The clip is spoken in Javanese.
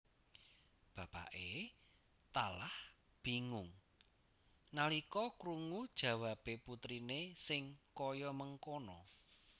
Bapakke talah bingung nalika krungu jawabe putrine sing kaya mengkana